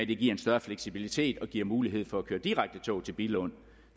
det giver en større fleksibilitet og giver mulighed for at køre direkte tog til billund